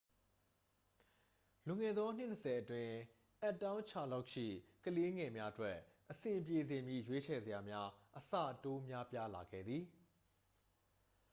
လွန်ခဲ့သော နှစ် 20 အတွင်း အပ်တောင်းချာလော့တ်ရှိ ကလေးငယ်များအတွက် အဆင်ပြေစေမည့် ရွေးချယ်စရာများ အဆတိုးများပြားလာခဲ့သည်